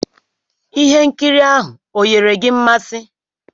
Ihe nkiri ahụ onyere gị mmasị?